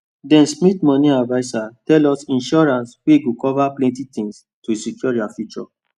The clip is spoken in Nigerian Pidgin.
them smith money adviser tell us insurance wey go cover plenty tins to secure their future